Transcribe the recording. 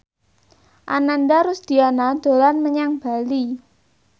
Ananda Rusdiana dolan menyang Bali